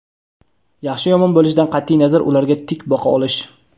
yaxshi yomon bo‘lishidan qatʼiy nazar ularga tik boqa olish.